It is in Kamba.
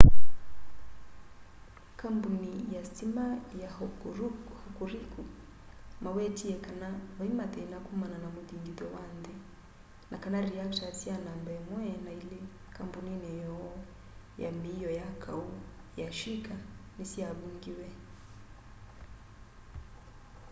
kambũnĩ ya sitima ya hokuriku mawetĩe kana vaĩmathĩna kũmana na mũthĩngĩtho wa nthĩ na kana reactors sya namba 1 na 2 kambũnĩnĩ yoo ya mĩio ya kaũ ya shĩka nĩsyavũngĩwe